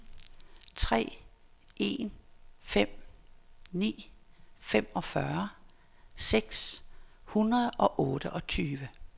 tre en fem ni femogfyrre seks hundrede og otteogtyve